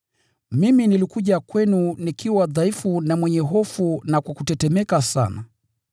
Mimi nilikuja kwenu nikiwa dhaifu na mwenye hofu na kwa kutetemeka sana.